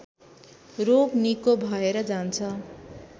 रोग निको भएर जान्छ